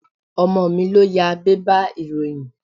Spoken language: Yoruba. Ọmọ mi ló ya bébà ìròyìn.